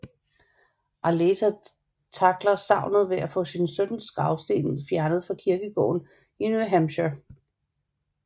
Arleta tackler savnet ved at få sin søns gravsten fjernet fra kirkegården i New Hampshire